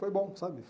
Foi bom, sabe?